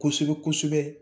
Kosɛbɛ kosɛbɛ